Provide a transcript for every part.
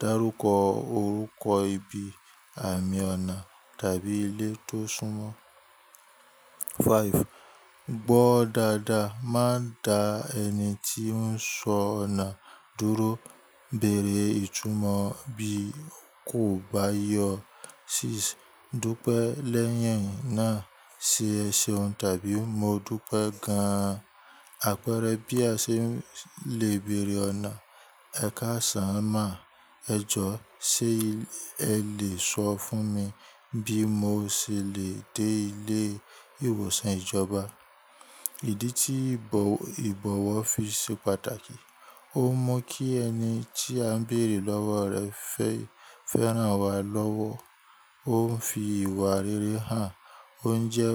dárúkọ orúkọ ibi, àmì ọ̀nà tàbí ilé tó súnmọ́. Five. Gbọ́ dáadáa, má da ẹni tí ń sọ ọ̀nà dúró. Bẹ̀rẹ̀ ìtumọ̀ bí kò bá yé ọ. Six. Dúpẹ́ lẹ́yìn náà ṣe èsèun tàbí mo dúpẹ́ gan-an. Àpẹẹrẹ bí a ṣe lè bèrè ọ̀nà. Ẹ̀ka sán má, ẹ jọ̀, ṣe ẹ lè sọ fún mi bí mo ṣe lè dé ilé ìwòsàn ìjọba? Ìdí tí ìbọ̀wọ̀ fi ṣe pàtàkì. Ó mú kí ẹni tí a ń bèrè lọ́wọ́ rẹ̀ fé fẹ́ ràn wá lọ́wọ́. Ó ń fi ìwà rere hàn. Ó ń jẹ́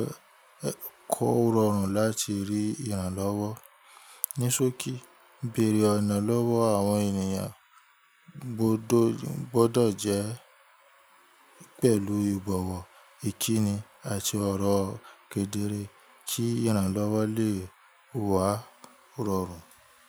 kò rọrùn láti rí ìrànlọ́wọ́. Nísòkì, bèrè ọ̀nà lọ́wọ́ àwọn ènìyàn gbọ́dọ̀ jẹ́ pẹ̀lú ìbọ̀wọ̀, ìkíni àti ọ̀rọ̀ kedere kí ìrànlọ́wọ́ lè wá rọrùn.